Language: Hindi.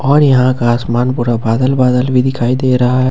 और यहां का आसमान पूरा बादल-बादल भी दिखाई दे रहा है।